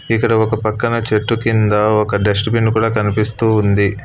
ఇక్కడ ఒక పక్కన చెట్టు కింద ఒక డస్ట్ బిన్ కూడా కనిపిస్తూ ఉంది.